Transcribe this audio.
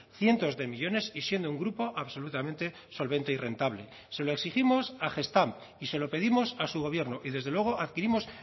cientos de millónes y siendo un grupo absolutamente solvente y rentable se lo exigimos a gestamp y se lo pedimos a su gobierno y desde luego adquirimos